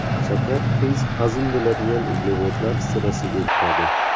Shakar tez hazm bo‘ladigan uglevodlar sirasiga kiradi.